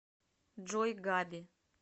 джой габи